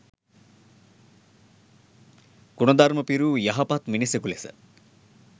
ගුණධර්ම පිරූ යහපත් මිනිසකු ලෙස